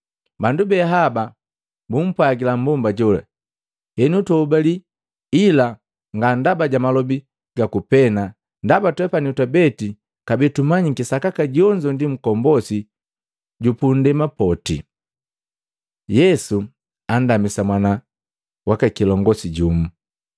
Bandu be haba bumpwajila mmbomba jola, “Henu tuhobali ila nga ndaba ja malobi gaku pena, ndaba twepani twabeti kabee tumanyiki sakaka jonzo ndi Nkombosi jupundema poti.” Yesu andamisa mwana waka kilongosi jumu